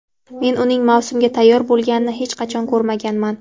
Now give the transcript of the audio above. Men uning mavsumga tayyor bo‘lmaganini hech qachon ko‘rmaganman.